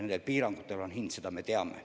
Nendel piirangutel on hind, seda me teame.